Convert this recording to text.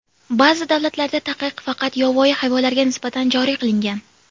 Ba’zi davlatlarda taqiq faqat yovvoyi hayvonlarga nisbatan joriy qilingan.